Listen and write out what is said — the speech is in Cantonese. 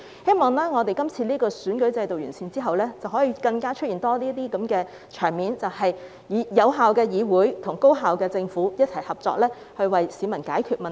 希望今次完善選舉制度後，可以出現更多這些場面，就是有效的議會與高效的政府一同合作，為市民解決問題。